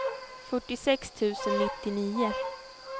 fyrtiosex tusen nittionio